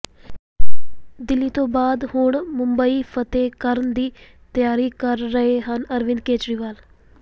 ਦਿੱਲੀ ਤੋਂ ਬਾਅਦ ਹੁਣ ਮੁੰਬਈ ਫਤਹਿ ਕਰਨ ਦੀ ਤਿਆਰੀ ਕਰ ਰਹੇ ਹਨ ਅਰਵਿੰਦ ਕੇਜਰੀਵਾਲ